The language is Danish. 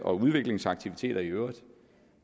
og udviklingsaktiviteter i øvrigt